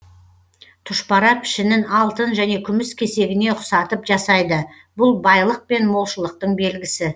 тұшпара пішінін алтын және күміс кесегіне ұқсатып жасайды бұл байлық пен молшылықтың белгісі